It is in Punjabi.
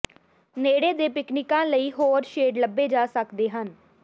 ਨੇੜੇ ਦੇ ਪਿਕਨਿਕਾਂ ਲਈ ਹੋਰ ਸ਼ੇਡ ਲੱਭੇ ਜਾ ਸਕਦੇ ਹਨ